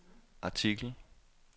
artikel